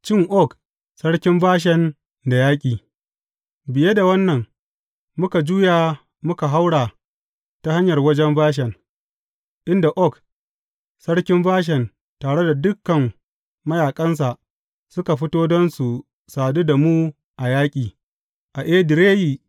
Cin Og sarkin Bashan da yaƙi Biye da wannan muka juya muka haura ta hanyar wajen Bashan, inda Og, sarkin Bashan tare da dukan mayaƙansa suka fito don su sadu da mu a yaƙi, a Edireyi.